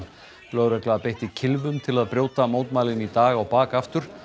lögregla beitti kylfum til að brjóta mótmælin í dag á bak aftur